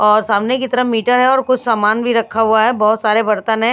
और सामने की तरफ मीटर है और कुछ सामान भी रखा हुआ है बहुत सारे बर्तन --